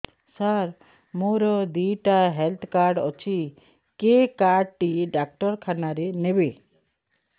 ସାର ମୋର ଦିଇଟା health card ଅଛି କେ କାର୍ଡ ଟି ଡାକ୍ତରଖାନା ରେ ନେବେ